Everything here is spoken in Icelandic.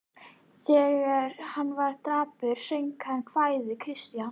Þegar hann var dapur söng hann kvæði Kristjáns